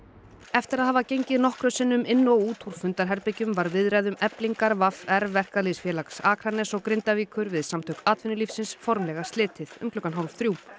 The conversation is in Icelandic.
eftir að hafa gengið nokkrum sinnum inn og út úr fundarherbergjum var viðræðum Eflingar v r Verkalýðsfélags Akraness og Grindavíkur við Samtök atvinnulífsins formlega slitið um klukkan hálf þrjú